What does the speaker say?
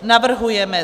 Navrhujeme: